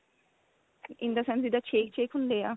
in the sense ਜਿੱਦਾਂ ਛੇਕ ਛੇਕ ਹੁੰਦੇ ਆ